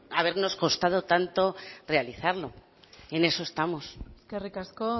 habernos costado tanto realizarlo y en eso estamos eskerrik asko